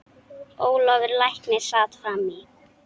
Ólafur læknir sat fram í.